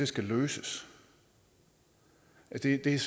skal løses det er